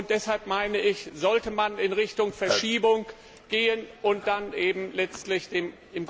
Deshalb meine ich, sollte man in Richtung Verschiebung gehen und dann eben letztlich dem im Grunde